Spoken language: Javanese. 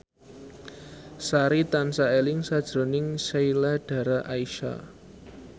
Sari tansah eling sakjroning Sheila Dara Aisha